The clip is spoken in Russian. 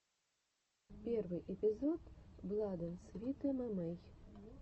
первый эпизод бладэндсвитэмэмэй